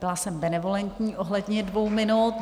Byla jsem benevolentní ohledně dvou minut.